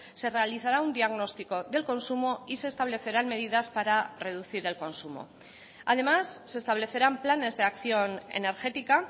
se realizará un diagnóstico del consumo y se establecerán medidas para reducir el consumo además se establecerán planes de acción energética